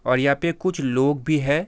और यहां पे कुछ लोग भी है।